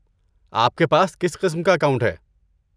آپ کے پاس کس قسم کا اکاؤنٹ ہے۔